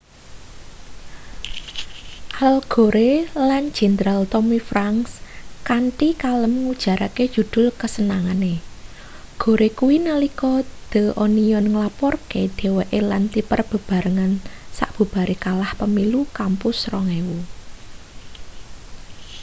al gore lan jenderal tommy franks kanthi kalem ngujarke judul kasenengane gore kuwi nalika the onion nglaporke dheweke lan tipper bebarengan sabubare kalah pemilu kampus 2000